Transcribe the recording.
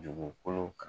Dugukolo kan